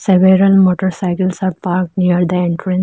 Several motorcycles are park near the entran --